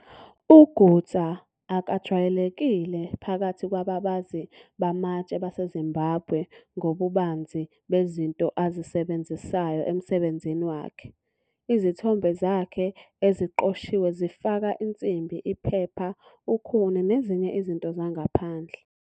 UGutsa akajwayelekile phakathi kwababazi bamatshe baseZimbabwe ngobubanzi bezinto azisebenzisayo emsebenzini wakhe, izithombe zakhe eziqoshiwe zifaka insimbi, iphepha, ukhuni nezinye izinto zangaphandle.